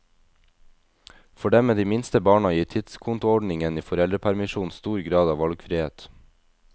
For dem med de minste barna gir tidskontoordningen i foreldrepermisjonen stor grad av valgfrihet.